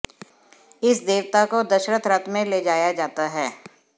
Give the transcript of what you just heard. इस देवता को दशरथ रथ में ले जाया जाता है